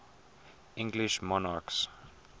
english monarchs